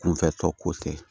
Kunfɛ tɔ ko tɛ